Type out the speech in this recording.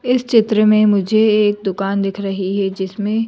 इस चित्र में मुझे एक दुकान दिख रही है जिसमें--